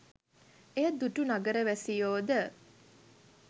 එය දුටු නගර වැසියෝ ද